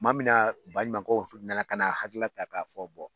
Tuma min na baɲumankɛw tun nana ka na hakilila ta k'a fɔ